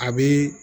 A bi